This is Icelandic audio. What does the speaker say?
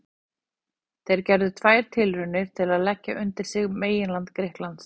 Þeir gerðu tvær tilraunir til að leggja undir sig meginland Grikklands.